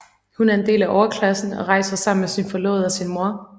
Hun er en del af overklassen og rejser sammen med sin forlovede og sin mor